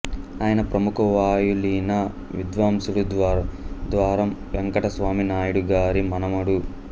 ఆయన ప్రముఖ వాయులీన విద్వాంసుడు ద్వారం వెంకటస్వామి నాయుడు గారి మనుమడు